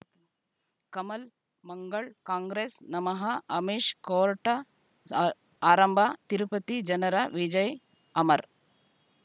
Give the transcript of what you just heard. ಕಮಲ್ ಮಂಗಳ್ ಕಾಂಗ್ರೆಸ್ ನಮಃ ಅಮಿಷ್ ಕೋರ್ಟ ಆ ಆರಂಭ ತಿರುಪತಿ ಜನರ ವಿಜಯ ಅಮರ್